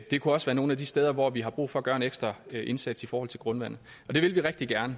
det kunne også være nogle af de steder hvor vi har brug for at gøre en ekstra indsats i forhold til grundvandet det vil vi rigtig gerne